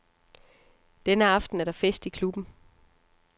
Denne aften er der fest i klubben.